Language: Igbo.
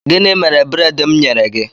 Gịnị mere breedi mụ nyere gị?